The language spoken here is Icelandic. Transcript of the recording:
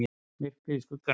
MYRKRIÐ Í SKUGGANUM